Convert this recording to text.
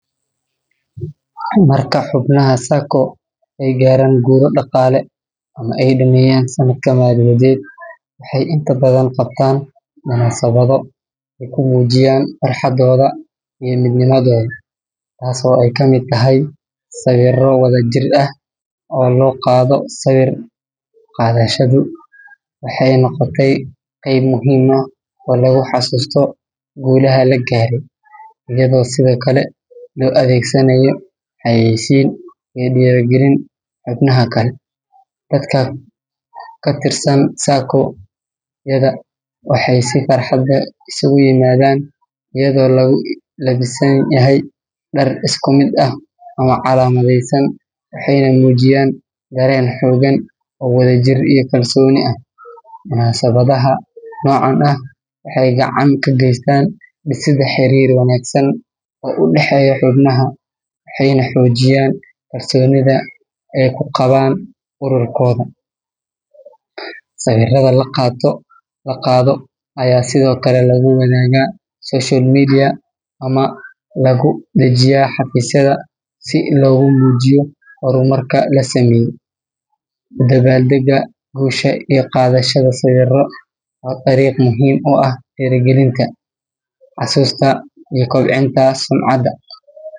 Marka xubnaha SACCO ay gaaraan guulo dhaqaale ama ay dhammeeyaan sanadka maaliyadeed, waxay inta badan qabtaan munaasabado ay ku muujiyaan farxadooda iyo midnimadooda, taasoo ay ka mid tahay sawirro wada jir ah oo la qaado. Sawir qaadashadu waxay noqotay qayb muhiim ah oo lagu xasuusto guulaha la gaaray, iyadoo sidoo kale loo adeegsanayo xayeysiin iyo dhiirigelin xubnaha kale. Dadka ka tirsan SACCO-yada waxay si farxad leh isugu yimaadaan iyadoo lagu labisan yahay dhar isku mid ah ama calaamadeysan, waxayna muujiyaan dareen xooggan oo wadajir iyo kalsooni ah. Munaasabadaha noocan ah waxay gacan ka geystaan dhisidda xiriir wanaagsan oo u dhexeeya xubnaha, waxayna xoojiyaan kalsoonida ay ku qabaan ururkooda. Sawirrada la qaado ayaa sidoo kale lagu wadaagaa social media ama lagu dhejiyaa xafiisyada si loogu muujiyo horumarka la sameeyay. U dabaaldegga guusha iyo qaadashada sawirro waa dariiq muhiim u ah dhiirigelinta, xasuusta, iyo kobcinta sumcadda.